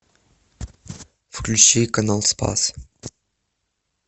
включи канал спас